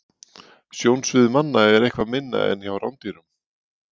Sjónsvið manna er eitthvað minna en hjá rándýrum.